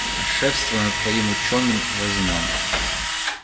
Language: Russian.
а шефство над твоим учёным возьмём